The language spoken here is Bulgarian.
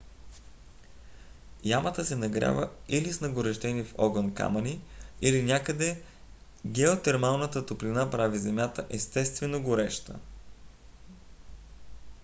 ямата се нагрява или с нагорещени в огън камъни или някъде геотермалната топлина прави земята естествено гореща